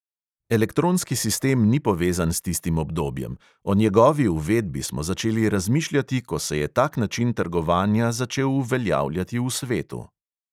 Elektronski sistem ni povezan s tistim obdobjem, o njegovi uvedbi smo začeli razmišljati, ko se je tak način trgovanja začel uveljavljati v svetu.